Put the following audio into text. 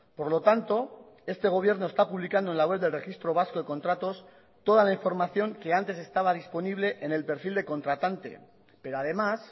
por lo tanto este gobierno está publicando en la web del registro vasco de contratos toda la información que antes estaba disponible en el perfil de contratante pero además